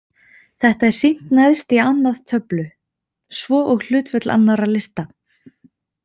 Þetta er sýnt neðst í annað töflu, svo og hlutföll annarra lista.